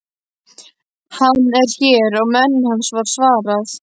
Hann er hér og menn hans, var svarað.